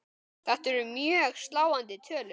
Þetta eru mjög sláandi tölur.